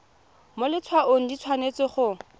mo letshwaong di tshwanetse go